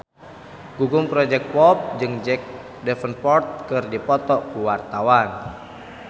Gugum Project Pop jeung Jack Davenport keur dipoto ku wartawan